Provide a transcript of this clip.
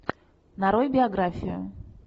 нарой биографию